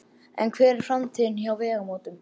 En hver er framtíðin hjá Vegamótum?